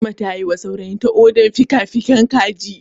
Fatima ta yiwa saurayinta odar fikafikin kaji.